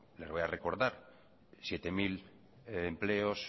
les voy a recordar siete mil empleos